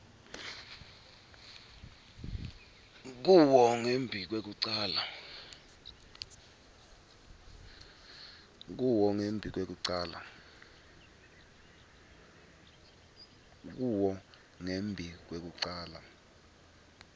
kuwo ngembi kwekucala